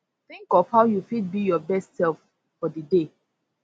think of how you fit be your best self for di day